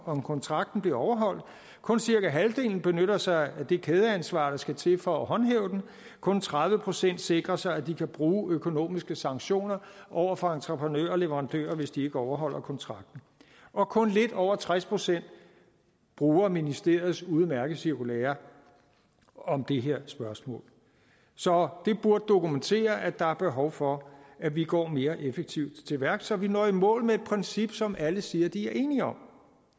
om kontrakten bliver overholdt kun cirka halvdelen benytter sig af det kædeansvar der skal til for at håndhæve den kun tredive procent sikrer sig at de kan bruge økonomiske sanktioner over for entreprenører og leverandører hvis de ikke overholder kontrakten og kun lidt over tres procent bruger ministeriets udmærkede cirkulære om det her spørgsmål så det burde dokumentere at der er behov for at vi går mere effektivt til værks så vi når i mål med et princip som alle siger de er enige om